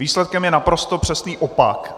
Výsledkem je naprosto přesný opak.